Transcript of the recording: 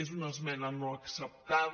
és una esmena no acceptada